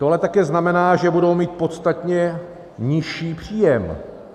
To ale také znamená, že budou mít podstatně nižší příjem.